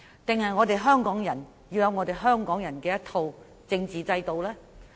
還是香港人要有自己的一套政治制度呢？